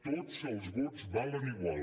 tots els vots valen igual